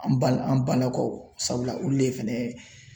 An bala an balakaw sabula olu le fɛnɛ